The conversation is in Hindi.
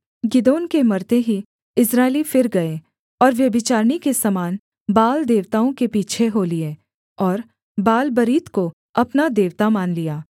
गिदोन के मरते ही इस्राएली फिर गए और व्यभिचारिणी के समान बाल देवताओं के पीछे हो लिए और बालबरीत को अपना देवता मान लिया